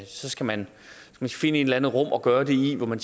så skal man finde et eller andet rum at gøre det i hvor man